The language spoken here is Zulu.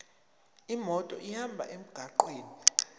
imoto ihambe emgwaqweni